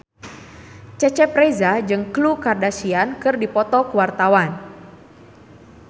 Cecep Reza jeung Khloe Kardashian keur dipoto ku wartawan